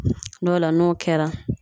Dɔw la, n'o kɛra